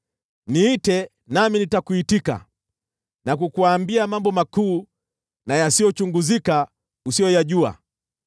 ‘Niite nami nitakuitika na kukuambia mambo makuu na yasiyochunguzika, usiyoyajua.’